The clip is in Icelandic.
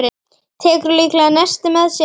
Tekur líklega nesti með sér.